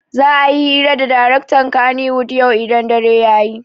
Za'a yi hira da daraktan kannywood yau idan dare ya yi.